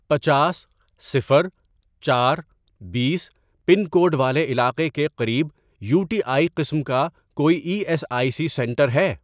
پنچاس، صفر، چار، بیس، پن کوڈ والے علاقے کے قریب یو ٹی آئی قسم کا کوئی E S I C centre ہے؟